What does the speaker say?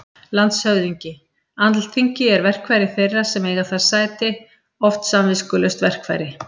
LANDSHÖFÐINGI: Alþingi er verkfæri þeirra sem þar eiga sæti- oft samviskulaust verkfæri.